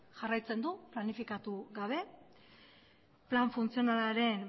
jarraitzen du planifikatu gabe plan funtzionalaren